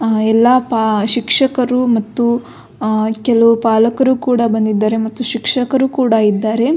ಆ ಎಲ್ಲ ಪ ಶಿಕ್ಷಕರು ಮತ್ತು ಕೆಲವು ಪಾಲಕರು ಕೂಡ ಬಂದಿದ್ದಾರೆ ಮತ್ತು ಶಿಕ್ಷಕರು ಕೂಡ ಇದ್ದಾರೆ.